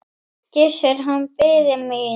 Gissur, hann biði mín.